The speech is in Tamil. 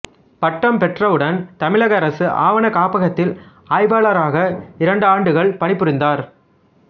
பட்டம் பெற்றவுடன் தமிழக அரசு ஆவணக் காப்பகத்தில் ஆய்வாளராக இரண்டாண்டுகள் பணி புரிந்தார்